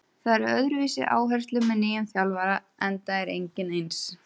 Það eru öðruvísi áherslur með nýjum þjálfara enda er enginn eins.